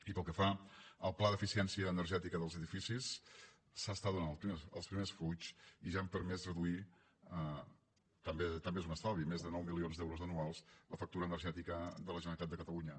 i pel que fa al pla d’eficiència energètica dels edificis s’estan donant els primers fruits i ja han permès reduir també és un estalvi més de nou milions d’euros anuals la factura energètica de la generalitat de catalunya